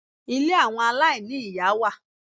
Ilé àwọn aláìní-ìyá wà.